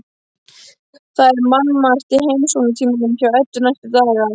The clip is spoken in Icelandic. Það er mannmargt í heimsóknartímanum hjá Eddu næstu daga.